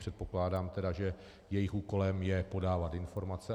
Předpokládám tedy, že jejich úkolem je podávat informace.